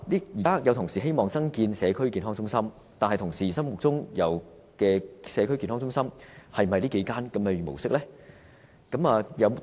現在有同事希望增建社區健康中心，但同事心目中的社區健康中心，是否這樣的模式呢？